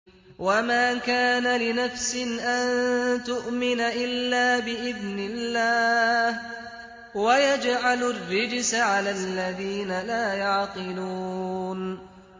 وَمَا كَانَ لِنَفْسٍ أَن تُؤْمِنَ إِلَّا بِإِذْنِ اللَّهِ ۚ وَيَجْعَلُ الرِّجْسَ عَلَى الَّذِينَ لَا يَعْقِلُونَ